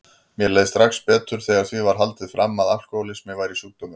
Mér leið strax betur þegar því var haldið fram að alkohólismi væri sjúkdómur.